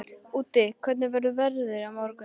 Úddi, hvernig er veðrið á morgun?